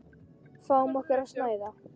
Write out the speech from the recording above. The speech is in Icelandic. Fáum okkur að snæða.